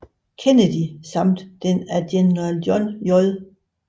Kennedy samt den af General John J